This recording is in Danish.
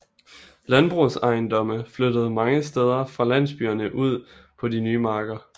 Landbrugsejendomme flyttede mange steder fra landsbyerne ud på de nye marker